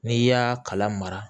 N'i y'a kala mara